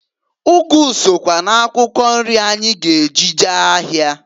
Ụgụ sokwa n'akwụkwọ nri anyị g'eji jee ahịa.